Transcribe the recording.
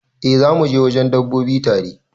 Eh zamu je wajen dabbobi tare.